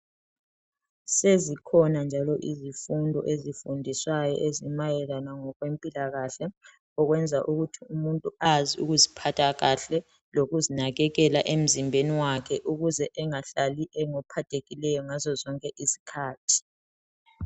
Sezikhona njalo izifundo ezifundiswayo ezimayelana ngokwempilakahle, okwenza ukuthi umuntu azi ukuziphatha kahle lokuznakekela emzimbeni wakhe ukuze engahlali engophathekileyo ngazo zonke izikhathi.